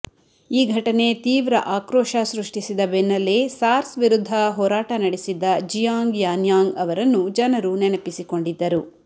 ಈ ಘಟನೆ ತೀವ್ರ ಆಕ್ರೋಶ ಸೃಷ್ಟಿಸಿದ ಬೆನ್ನಲ್ಲೇ ಸಾರ್ಸ್ ವಿರುದ್ಧ ಹೋರಾಟ ನಡೆಸಿದ್ದ ಜಿಯಾಂಗ್ ಯಾನ್ಯಾಂಗ್ ಅವರನ್ನು ಜನರು ನೆನಪಿಸಿಕೊಂಡಿದ್ದರು